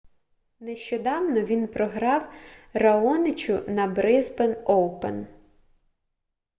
нещодавно він програв раоничу на брисбен оупен